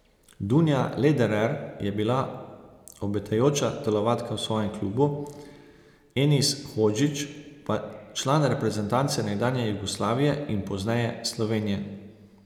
Dunja Lederer je bila obetajoča telovadka v svojem klubu, Enis Hodžić pa član reprezentance nekdanje Jugoslavije in pozneje Slovenije.